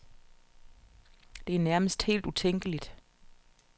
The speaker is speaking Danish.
Det er nærmest helt utænkeligt.